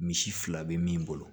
Misi fila be min bolo